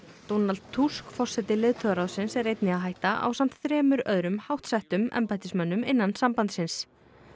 Donald Tusk forseti leiðtogaráðsins er einnig að hætta ásamt þremur öðrum háttsettum embættismönnum innan sambandsins